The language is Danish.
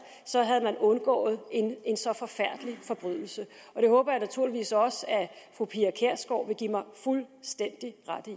havde man undgået en så forfærdelig forbrydelse og det håber jeg naturligvis også at fru pia kjærsgaard vil give mig fuldstændig ret i